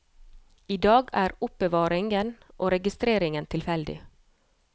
I dag er er oppbevaringen og registreringen tilfeldig.